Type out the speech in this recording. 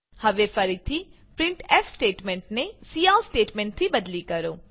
હવે ફરીથી printf statement cout સ્ટેટમેંટથી બદલી કરો